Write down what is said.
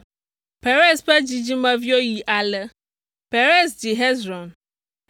Perez ƒe dzidzimeviwo yi ale: Perez dzi Hezron,